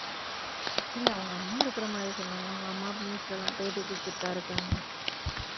இல்லை அவுங்க அம்மா இருக்கிற மாதிரி சொன்னாங்க அவுங்க அம்மா news லலாம் பேட்டி கொடுத்துட்டுதான் இருக்காங்க